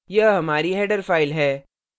यह हमारी header file है